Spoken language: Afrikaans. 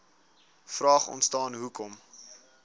vraag ontstaan hoekom